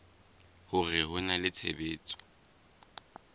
hore ho na le tshebetso